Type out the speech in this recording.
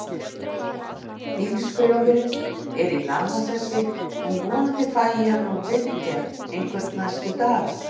Bílskrjóðurinn er í lamasessi, en vonandi fæ ég hann úr viðgerð einhvern næstu daga.